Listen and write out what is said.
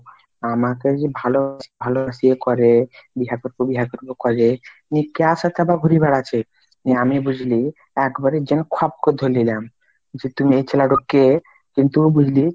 আমাকে যে ভালোবাসি ভালোবাসি করে বিহা করবো বিহা করবো করে নি এ ক্যার সাথে আবার ঘুরে বেড়াচ্ছে, আমি বুঝলি এক বারে জেঙয়ে খপ করে ধরে লিল্যাম যে তুমি এই ছেলেটা কে কিন্তু বুজলি,